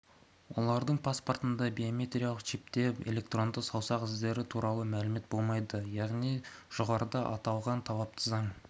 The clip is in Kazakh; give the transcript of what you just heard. олардың паспортындағы биометриялық чипте электронды саусақ іздері туралы мәлімет болмайды яғни жоғарыда аталған талапты заң